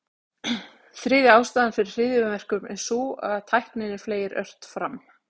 Þriðja ástæðan fyrir hryðjuverkum er sú, að tækninni fleygir ört fram.